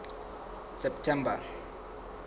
september